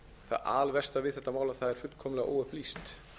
það alversta við þetta mál er að það er fullkomlega óupplýst